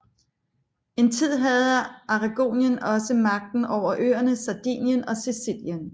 En tid havde Aragonien også magten over øerne Sardinien og Sicilien